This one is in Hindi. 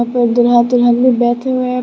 अपने दूल्हा दुलहन भी बैठे हुए हैं।